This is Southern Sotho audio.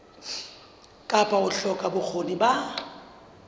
kapa ho hloka bokgoni ba